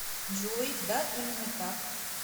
джой да именно так